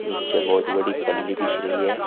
नीचे बहोत बड़ी पल्ली बिछ रही है।